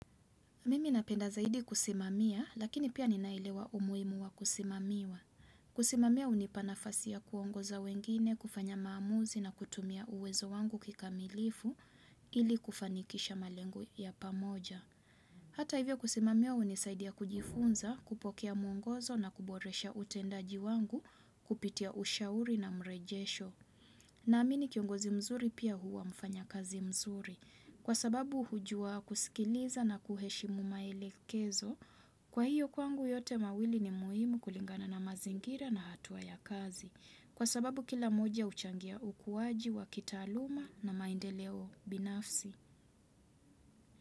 Mimi napenda zaidi kusimamiya lakini pia ninaelewa umuimu wa kusimamiwa. Kusimamiya hunipa nafasi ya kuongoza wengine, kufanya maamuzi na kutumia uwezo wangu kikamilifu ili kufanikisha malengo ya pamoja. Hata hivyo kusimamiya hunisaidia kujifunza kupokea mwongozo na kuboresha utendaji wangu kupitia ushauri na mrejesho. Naamini kiongozi mzuri pia huwa mfanya kazi mzuri. Kwa sababu hujua kusikiliza na kuheshimu maelekezo, kwa hiyo kwangu yote mawili ni muhimu kulingana na mazingira na hatua ya kazi. Kwa sababu kila moja huchangia ukuwaji wa kitaaluma na maendeleo binafsi.